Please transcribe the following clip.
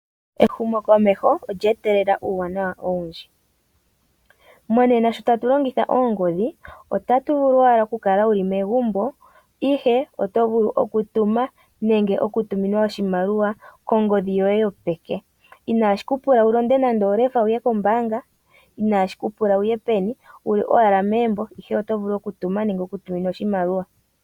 Ehumokomeho olya etelela uuwanawa owundji. Monena sho tatu longitha oongodhi, oto vulu owala okukala wuli megumbo, ihe oto vulu okutuma nenge oku tuminwa oshimaliwa kongodhi yoye yopeke, inashi kupula ukwate nando olefa uye kombaanga, uli owala megumbo ihe oto vulu okutuma nenge okutuminwa iimaliwa.